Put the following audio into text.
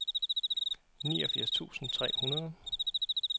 niogfirs tusind tre hundrede